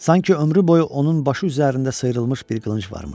Sanki ömrü boyu onun başı üzərində sıyrılmış bir qılınc varmış.